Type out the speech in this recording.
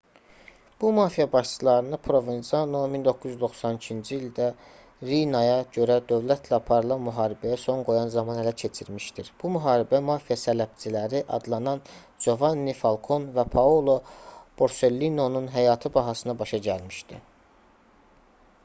bu mafiya başçılarını provenzano 1992-ci ildə riinaya görə dövlətlə aparılan müharibəyə son qoyan zaman ələ keçirmişdir bu müharibə mafiya sələbçiləri adlanan jovanni falkon və paolo borsellinonun həyatı bahasına başa gəlmişdi